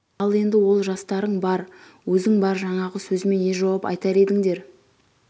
ал енді ол жастарың бар өзің бар жаңағы сөзіме не жауап айтар едіңдер